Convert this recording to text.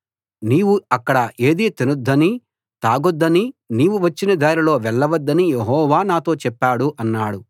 నీవు అక్కడ ఏదీ తినొద్దనీ తాగొద్దనీ నీవు వచ్చిన దారిలో వెళ్ళ వద్దనీ యెహోవా నాతో చెప్పాడు అన్నాడు